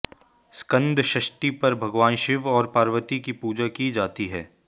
स्कंद षष्ठी पर भगवान शिव और पार्वती की पूजा की जाती है